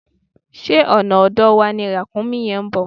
Ṣé ọ̀nà ọ̀dọ̀ wa ni Ràkúnmí yẹn ń bọ̀?